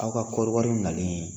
Aw ka kɔɔriwariw nalen